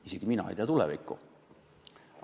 Isegi mina ei tea tulevikku.